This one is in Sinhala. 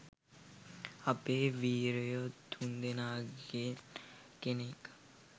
අපේ වීරයො තුන් දෙනාගෙන් කෙනෙක්